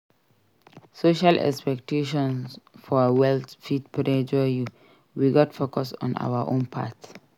Social expectation for wealth fit pressure you; we gats focus on our own path.